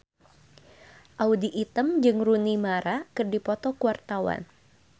Audy Item jeung Rooney Mara keur dipoto ku wartawan